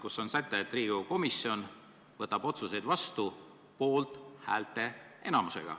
Selles on säte, mis ütleb, et Riigikogu komisjon võtab otsuseid vastu poolthäälte enamusega.